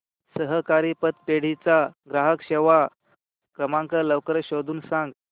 सहकारी पतपेढी चा ग्राहक सेवा क्रमांक लवकर शोधून सांग